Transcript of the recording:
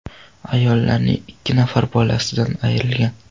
Ayollarning ikki nafari bolasidan ayrilgan.